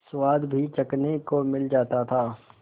स्वाद भी चखने को मिल जाता था